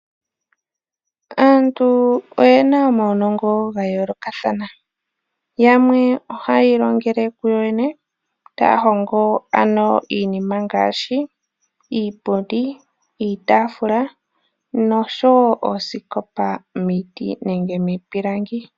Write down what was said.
Aantu oyena omaunongo gasimana . Yamwe ohaya ilongele kuyoyene, taya hongo iinima ngaashi iipundi, iitaafula noshowoo oosikopa miiti nenge miipilangi.